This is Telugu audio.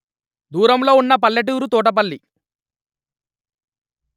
దూరంలో వున్న పల్లెటూరు తోటపల్లి